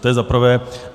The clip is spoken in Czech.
To je za prvé.